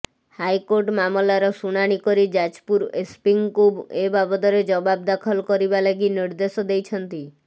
high court ମାମଲାର ଶୁଣାଣି କରି ଯାଜପୁର ଏସ୍ପିଙ୍କୁ ଏ ବାବଦରେ ଜବାବ ଦାଖଲ କରିବା ଲାଗି ନିର୍ଦ୍ଦେଶ ଦେଇଛନ୍ତି